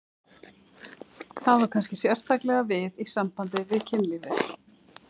Það á kannski sérstaklega við í sambandi við kynlífið.